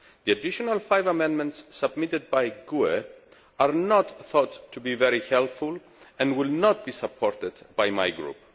The additional five amendments submitted by the GUE NGL Group are not thought to be very helpful and will not be supported by my group.